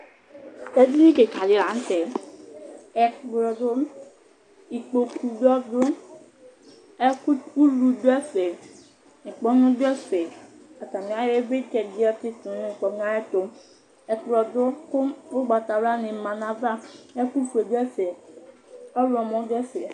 Edini kika dila nʋ tɛ Ekplɔ dʋ, ikpoku bɩ ɔdʋ Ɛfʋtɛulu bɩ du ɛfɛ, ŋkpɔnu dʋ ɛfɛ Atani ayɔ ivlitsɛ di yɔ tsɩtʋ nʋ ŋkpɔnʋ yɛ ayʋ ɛtʋ Ɛkplɔ du kʋ ugbatawla ni ma nʋ ayava, ɛkʋfue dʋ ɛfɛ, ɔɣlɔmɔ dʋ ɛfɛ